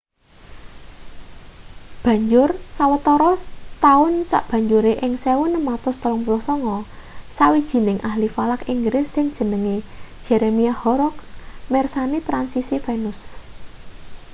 banjur sawetara taun sabanjure ing 1639 sawijining ahli falak inggris sing jenenge jeremiah horrocks mirsani transisi venus